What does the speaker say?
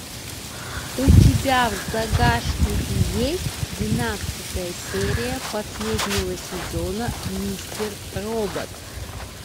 у тебя в загашнике есть двенадцатая серия последнего сезона мистер робот